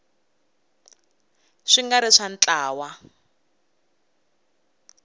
swi nga ri swa ntlawa